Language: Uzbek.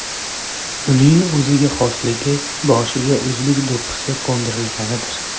Uning o‘ziga xosligi boshiga o‘zbek do‘ppisi qo‘ndirilganidir.